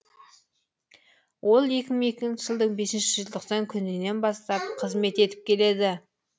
ол екі мың екінші жылдың бесінші желтоқсан күнінен бастап қызмет етіп келеді